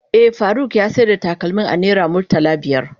Eh, Faruk ya sayar da takalmin a naira murtala biyar.